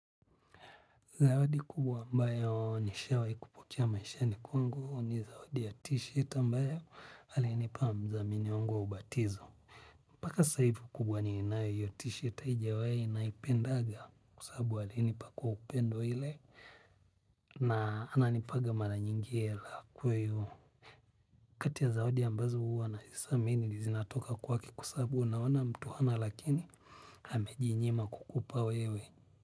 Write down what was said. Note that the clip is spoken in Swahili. Zawadi kubwa ambayo nishawai kupokea maishani kwangu ni zawadi ya t-shirt ambayo alinipa mdhamini wangu wa ubatizo mpaka sasahivi ukubwani ninayo hiyo tshirt haijawahi naipendaga kwa sababu alienipa kwa upendo ile na ananipaga mara nyingi hela. Kati ya zawadi ambazo huwa nazi thamini zinatoka kwake kwasabu unaona mtu hana lakini ameji nyima kukupa wewe.